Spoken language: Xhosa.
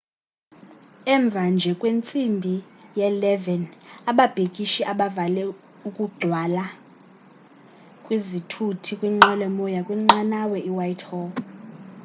emva nje kwentsimbi ye-11 00 ababhikishi bavale ukugcwala kwezithuthi kwinqwelomoya kwinqanawa ewhitehall